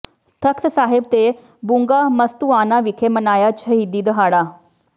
ਤਖਤ ਸਾਹਿਬ ਤੇ ਬੁੰਗਾ ਮਸਤੂਆਣਾ ਵਿਖੇ ਮਨਾਇਆ ਸ਼ਹੀਦੀ ਦਿਹਾੜਾ